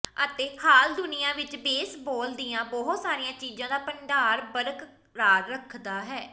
ਅਤੇ ਹਾਲ ਦੁਨੀਆ ਵਿਚ ਬੇਸਬਾਲ ਦੀਆਂ ਬਹੁਤ ਸਾਰੀਆਂ ਚੀਜ਼ਾਂ ਦਾ ਭੰਡਾਰ ਬਰਕਰਾਰ ਰੱਖਦਾ ਹੈ